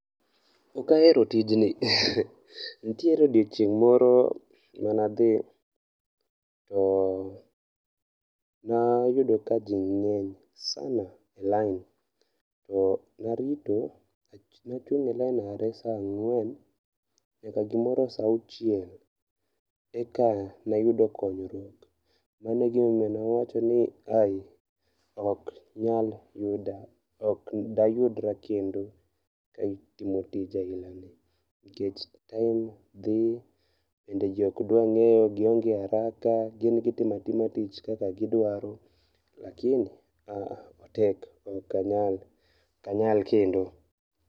Ok ahero tijni. Nitiere odiochieng' moro manadhi e nayudo ka ji ng'eny sana e lain, narito ,nachung' e lain are sa ang'wen nyaka gimoro sa auchiel, eka nayudo konyruok. Mano egimomiyo nawacho ni ai, ok nyal yuda. Ok dayudra kendo e timo tich ailani nikech time dhi, bende ji ok dwa ng'eyo, gionge haraka, gin gitimo atima tich kaka gidwaro, lakini aah, otek . Ok anyal, ok anyal kendo.